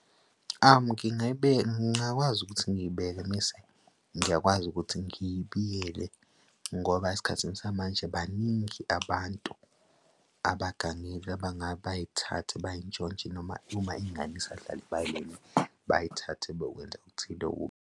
Ngingayibeka, ngiyakwazi ukuthi ngiyibeke mese, ngiyakwazi ukuthi ngiyibuyele. Ngoba esikhathini samanje baningi abantu abagangile bay'thathe bay'ntshontshe, noma uma ingane isadlala ebaleni bayithathe bayokwenza okuthile .